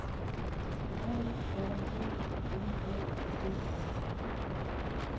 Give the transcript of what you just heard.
A R E N A E R